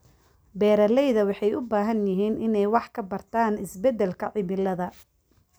Beeralayda waxay u baahan yihiin inay wax ka bartaan isbeddelka cimilada.